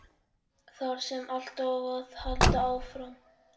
Þar sem allt á að halda áfram.